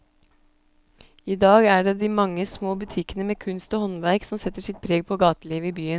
I dag er det de mange små butikkene med kunst og håndverk som setter sitt preg på gatelivet i byen.